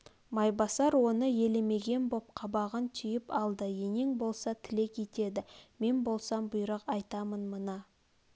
майбасар оны елемеген боп қабағын түйп алды енең болса тілек етеді мен болсам бұйрық айтам мына